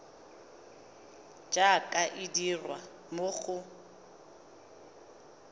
jaaka e dirwa mo go